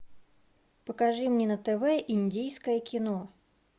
покажи мне на тв индийское кино